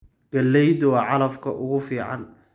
Galeydu waa calafka ugu fiican.